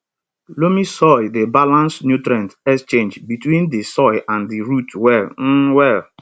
loamy soil dey balance nutrient exchange between di soil and di root well um well